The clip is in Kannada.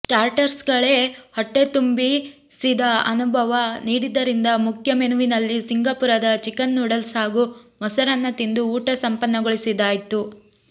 ಸ್ಟಾರ್ಟರ್ಸ್ಗಳೇ ಹೊಟ್ಟೆ ತುಂಬಿಸಿದ ಅನುಭವ ನೀಡಿದ್ದರಿಂದ ಮುಖ್ಯ ಮೆನುವಿನಲ್ಲಿ ಸಿಂಗಪುರದ ಚಿಕನ್ ನೂಡಲ್ಸ್ ಹಾಗೂ ಮೊಸರನ್ನ ತಿಂದು ಊಟ ಸಂಪನ್ನಗೊಳಿಸಿದ್ದಾಯಿತು